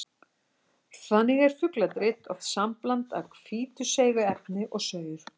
Þannig er fugladrit oft sambland af hvítu seigu efni og saur.